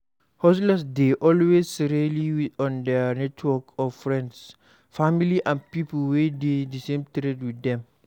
Hustlers dey always rely on their network of friends, family and people wey dey di same trade with them